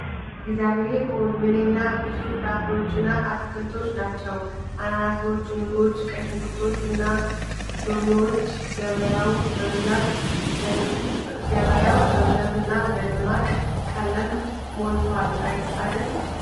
እግዚአብሔር ሆይ! ምንኛ ብዙ ፍራፍሬዎችና አትክልቶች ናቸው! አናናሶች፣ ሙዞች፣ ቀይ ሽንኩርቶች እና ሎሚዎች! ገበያው በብዛትና በደማቅ ቀለም ሞልቷል አደል !